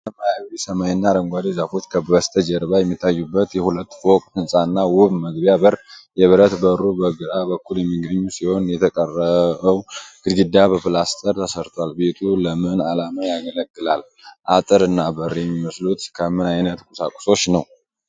ሰማያዊ ሰማይና አረንጓዴ ዛፎች በስተጀርባ የሚታዩበት የሁለት ፎቅ ሕንፃ እና ውብ መግቢያ በር። የብረት በሩ በግራ በኩል የሚገኝ ሲሆን የተቀረው ግድግዳ በፕላስተር ተሰርቷል። ቤቱ ለምን ዓላማ ያገለግላል? አጥር እና በር የሚመስሉት ከምን ዓይነት ቁሳቁሶች ነው?